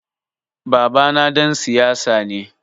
Babana ɗan siyasa ne.